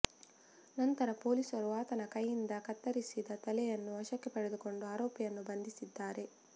ನಂತರ ಪೊಲೀಸರು ಆತನ ಕೈಯಿಂದ ಕತ್ತರಿಸಿದ ತಲೆಯನ್ನು ವಶಕ್ಕೆ ಪಡೆದುಕೊಂಡು ಆರೋಪಿಯನ್ನು ಬಂಧಿಸಿದ್ದಾರೆ